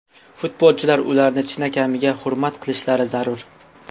Futbolchilar ularni chinakamiga hurmat qilishlari zarur.